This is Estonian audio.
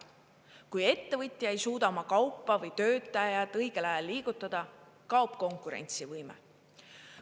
Kui ettevõtja ei suuda oma kaupa või töötajaid õigel ajal liigutada, kaob konkurentsivõime.